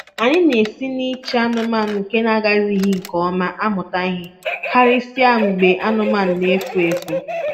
Anyị na-esi na-ịchị anụmanụ nke agazighị nke ọma amụta ihe, karịsịa mgbe anụmanụ na-efu efu.